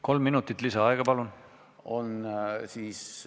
Kolm minutit lisaaega, palun!